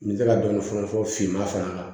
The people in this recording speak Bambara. N bɛ se ka dɔni fɔne finman fara kan